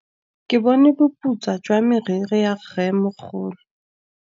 Ke bone boputswa jwa meriri ya rrêmogolo.